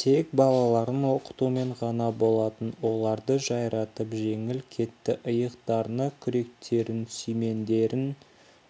тек балаларын оқытумен ғана болатын оларды жайратып жеңіп кетті иықтарына күректерін сүймендерін